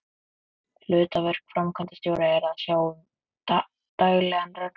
Hlutverk framkvæmdastjóra er að sjá um daglegan rekstur.